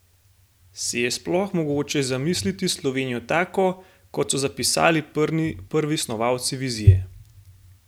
Si je sploh mogoče zamisliti Slovenijo tako, kot so zapisali prvi snovalci Vizije?